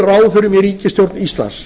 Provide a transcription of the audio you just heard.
ráðherrum í ríkisstjórn íslands